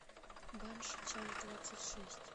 банши часть двадцать шесть